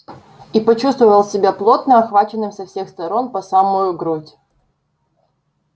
и почувствовал себя плотно охваченным со всех сторон по самую грудь